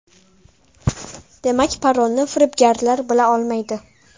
Demak parolni firibgarlar bila olmaydi.